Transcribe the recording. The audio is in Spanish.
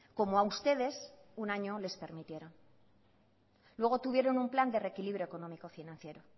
como a ustedes un año les permitieron luego tuvieron un plan de reequilibrio económico financiero